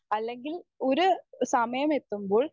speaker 1 അല്ലെങ്കിൽ ഒരു സമയമെത്തുമ്പോൾ